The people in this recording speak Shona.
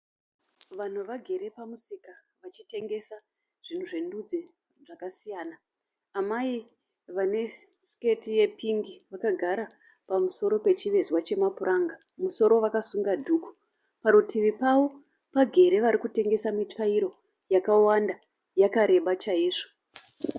Vanhu vagere pamusika vachitengesa zvinhu zvendudzi dzakasiyana. Amai vane siketi yepingi vakagara pamusoro pechivezwa chemapuranga. Musoro vakasunga dhuku. Parutivi pavo pagere varikutengesa mitsvairo yakawanda yakareba chaizvo.